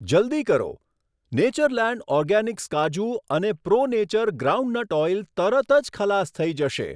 જલ્દી કરો, Natureland Organics કાજુ અને પ્રો નેચર ગ્રાઉન્ડનટ ઓઈલ તરત જ ખલાસ થઈ જશે.